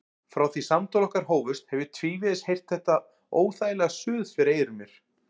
Frá því samtöl okkar hófust hef ég tvívegis heyrt þetta óþægilega suð fyrir eyrum mér.